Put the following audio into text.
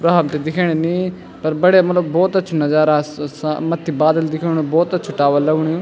वह हमथे दिखेणी नी पर बढ़िया मतलब भोत अछू नजारा स स मथ्थी बादल दिखेणु भोत अछू टावर लगणु यु।